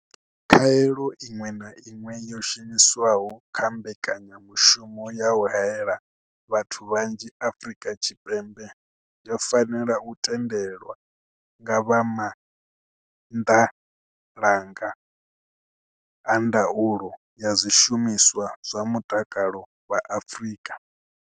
Khaelo iṅwe na iṅwe yo shumiswaho kha mbekanyamushumo ya u haela vhathu vhanzhi Afrika Tshipembe yo fanela u tendelwa nga vha maanḓalanga a ndaulo ya zwishumiswa zwa mutakalo vha Afrika.